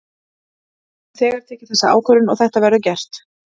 Við höfum þegar tekið þessa ákvörðun og þetta verður gert.